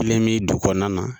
Kelen me dugu kɔnɔna na